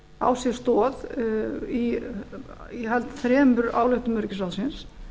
á sér stað í ég held þremur ályktunum ríkisvaldsins